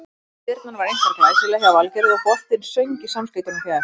Spyrnan var einkar glæsileg hjá Valgerði og boltinn söng í samskeytunum fjær.